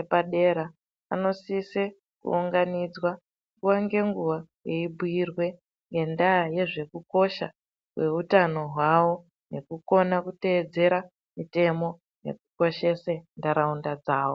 epadera anosise kuunganidzwa nguwa ngenguwa eibhiirwe ngendaya yezvekukosha kweutano hwavo nekukona kuteedzere mitemo nekukoshese nharaunda dzawo.